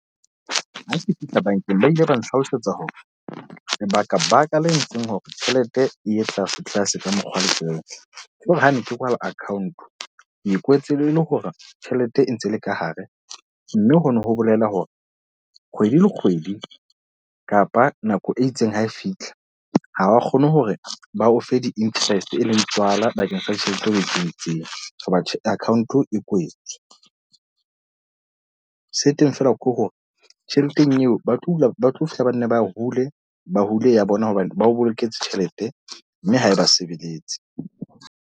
Ha ke fihla bankeng, ba ile ba nhlalosetsa hore, lebaka baka le entseng hore tjhelete eye tlase tlase ka mokgwa letsweleng hore ha ne ke kwala account. Ke kwetse le hore tjhelete e ntse le ka hare. Mme hono ho bolela hore kgwedi le kgwedi kapa nako e itseng ha e fitlha. Ha ba kgone hore ba o fe di-interest e leng tswala bakeng sa ditjhelete ho etseditsweng ho batho account e kwetswe. Se teng fela ke hore tjheleteng eo ba tlo hula ba tlo fihla ba nne ba hula ba hule ya bona hobane bao boloketse tjhelete, mme ha eba sebeletse.